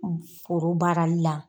Koro baarali la.